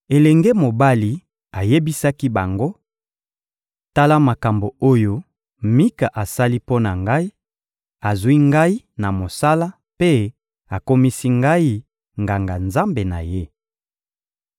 Elenge mobali ayebisaki bango: — Tala makambo oyo Mika asali mpo na ngai: Azwi ngai na mosala mpe akomisi ngai nganga-nzambe na ye.